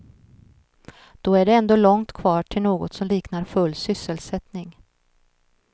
Då är det ändå långt kvar till något som liknar full sysselsättning.